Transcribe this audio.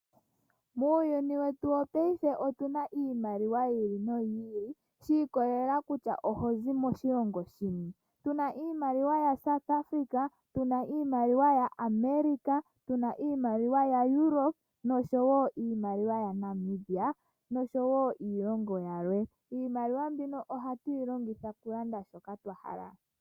Muuyuni wetu wopaife otuna iimaliwa yiili noyili shi ikolela kutya ohozi moshilongo shini. Tuna iimaliwa yaSouth Africa, yaAmerica, yaEuropa oshowo iilongo yilwe. Iimaliwa mbika ohatu yilongitha okulanda shoka twahala.